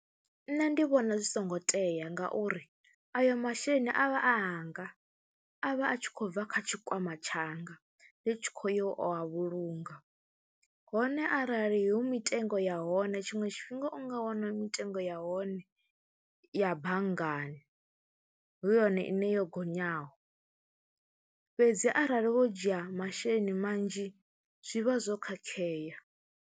Nṋe ndi vhona zwi songo tea ngauri ayo masheleni a vha a anga, a vha a tshi khou bva kha tshikwama tshanga ndi tshi khou ya u a vhulunga hone arali hu mitengo ya hone tshiṅwe tshifhinga u nga wana mitengo ya hone ya banngani hu yone ine yo gonyaho fhedzi arali wo dzhia masheleni manzhi zwi vha zwo khakhea.